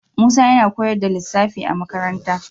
Musa yana koyar da lissafi a makarantar.